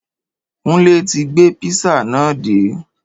Kúnlé ti gbé písà náà dé.